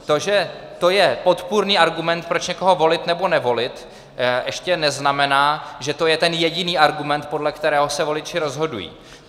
To, že to je podpůrný argument, proč někoho volit nebo nevolit, ještě neznamená, že to je ten jediný argument, podle kterého se voliči rozhodují.